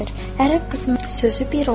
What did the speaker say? Ərəb qızının sözü bir olar.